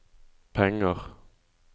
penger